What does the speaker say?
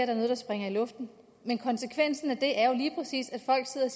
er noget der springer i luften men konsekvensen af det er jo lige præcis at folk sidder